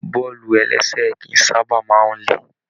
Bọ́ọ̀lù-ẹlẹ́sẹ̀ kìí sábà máa n lè.